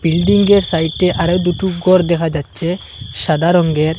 বিল্ডিঙ্গের সাইড্বে আরও দুটি গর দেখা যাচ্ছে সাদা রঙ্গের।